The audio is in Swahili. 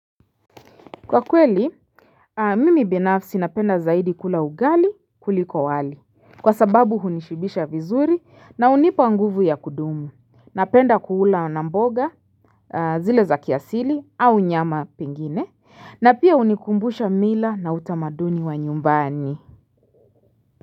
Kwa kweli mimi binafsi napenda zaidi kula ugali kuliko wali. Kwa sababu hunishibisha vizuri na hunipa nguvu ya kudumu. Napenda kula na mboga zile za kiasili au nyama pengine na pia hunikumbusha mila na utamaduni wa nyumbani.